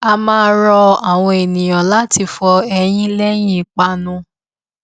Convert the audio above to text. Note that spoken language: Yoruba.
a máa rọ àwọn ènìyàn láti fọ eyín léyìn ìpanu